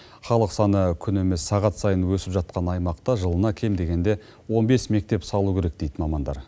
халық саны күн емес сағат сайын өсіп жатқан аймақта жылына кем дегенде он бес мектеп салу керек дейді мамандар